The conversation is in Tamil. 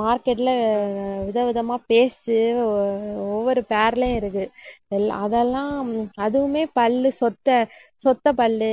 market ல ஆஹ் விதவிதமா paste ஆஹ் ஒவ்வொரு இருக்கு. எல்லா~ அதெல்லாம் அதுவுமே பல்லு சொத்தை, சொத்தைப் பல்லு